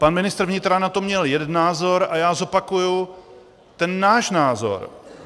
Pan ministr vnitra na to měl jeden názor a já zopakuji ten náš názor.